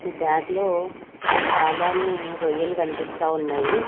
Bag లో చాలానే రొయ్యలు కన్పిస్తా ఉన్నాయి.